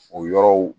O yɔrɔw